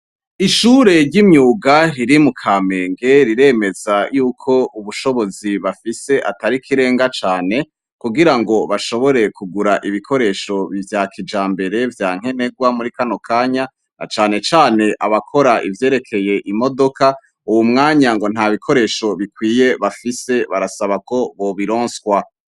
ishure ry'imyuga riri mu kamenge riremeza y'uko ubushobozi bafise atari kirenga cane kugira ngo bashobore kugura ibikoresho vya kijambere vya nkenegwa muri kano kanya na cyane cyane abakora ivyerekeye imodoka uwu mwanya ngo nta bikoresho bafise bikwiye bafise barasaba ko bobironswa